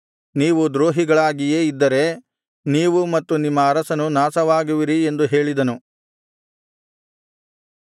ನೀವು ದ್ರೋಹಿಗಳಾಗಿಯೇ ಇದ್ದರೆ ನೀವು ಮತ್ತು ನಿಮ್ಮ ಅರಸನು ನಾಶವಾಗುವಿರಿ ಎಂದು ಹೇಳಿದನು